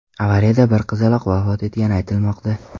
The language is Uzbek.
Avariyada bir qizaloq vafot etgani aytilmoqda.